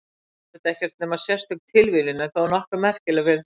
Þetta er auðvitað ekkert nema sérstök tilviljun en þó nokkuð merkileg fyrir það.